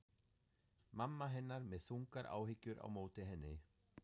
Mamma hennar með þungar áhyggjur á móti henni.